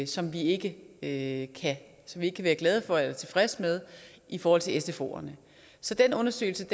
som vi ikke ikke kan være glade for eller tilfredse med i forhold til sfoerne så den undersøgelse